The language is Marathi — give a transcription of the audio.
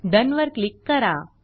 डोन वर क्लिक करा